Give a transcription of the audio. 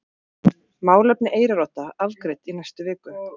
Málefni Eyrarodda afgreidd í næstu viku